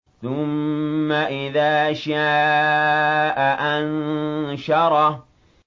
ثُمَّ إِذَا شَاءَ أَنشَرَهُ